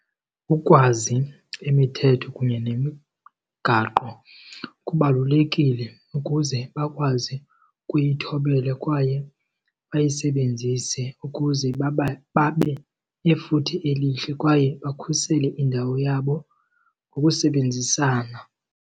Ukwazi imithetho kunye nemigaqo kubalulekile ukuze bakwazi ukuyithobela kwaye bayisebenzise ukuze babe nefuthe elihle kwaye bakhusele indawo yabo ngokusebenzisana.